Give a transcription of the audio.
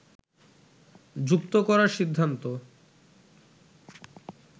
যুক্ত করার সিদ্ধান্ত